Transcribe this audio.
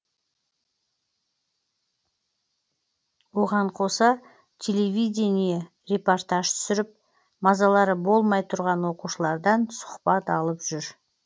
оған қоса телевидение репортаж түсіріп мазалары болмай тұрған оқушылардан сұхбат алып жүр